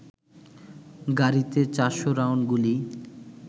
গাড়িতে ৪০০ রাউন্ড গুলি